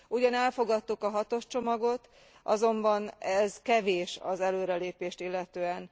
Ugyan elfogadtuk a hatos csomagot, azonban ez kevés az előrelépést illetően.